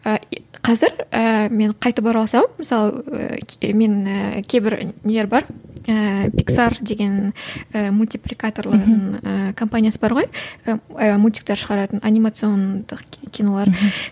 і қазір ііі мен қайтып оралсам мысалы мен кейбір нелер бар ііі иксар деген ііі мультипликаторлардың ііі компаниясы бар ғой ііі мультиктер шығаратын анимациондық кинолар